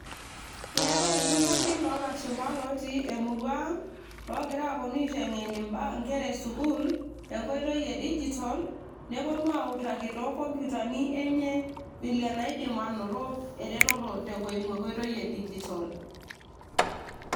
keetay ilturruri loolashupa lotii emurua ang logira aponu aiteng'en inkera e sukuul enkoitoi e digital neponu autaki too kompyutani enye vile enaidim anoto eretoto tenkoi eimu enkoitoi e digital.